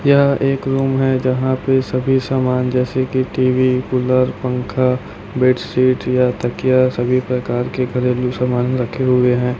यह एक रूम है जहां पे सभी सामान जैसे की टी_वी कूलर पंखा बेडशीट या तकिया सभी प्रकार के घरेलू सामान रखे हुए है।